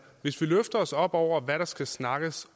hvis vi løfter os op over hvad der skal snakkes